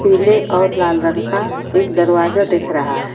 पीले और लाल रंग का एक दरवाज़ा दिख रहा है ।